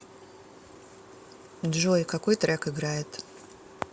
джой какой трек играет